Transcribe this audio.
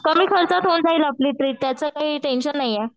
कमी खर्चात होऊन जाईल आपली ट्रिप त्याचं काही टेन्शन नाही ये.